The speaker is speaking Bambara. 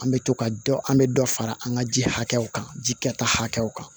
An bɛ to ka dɔ an bɛ dɔ fara an ka ji hakɛw kan ji kɛta hakɛw kan